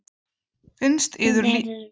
Finnst yður lífið ekki einkennilegt?